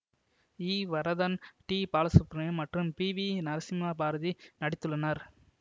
ஈ Varadhan T Balasubramaniam மற்றும் P V Narasimha Bharathi நடித்துள்ளனர்